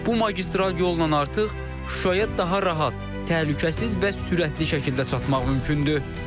Bu magistral yolla artıq Şuşaya daha rahat, təhlükəsiz və sürətli şəkildə çatmaq mümkündür.